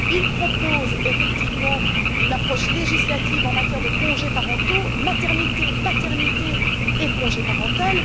Il propose effectivement une approche législative en matière de congés parentaux maternité, paternité et congé parental.